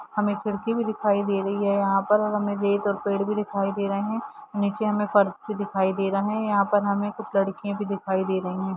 हमे खिड़की भी दिखाई दे रही है यहाँ पर हमे रेत और पेड़ भी दिखाई दे रहे है नीचे हमे फर्श भी दिखाई दे रहा है यहाँ पर हमे कुछ लड़कियाँ भी दिखाई दे रही है।